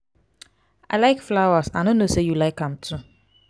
i like flowers i no know say you like am too.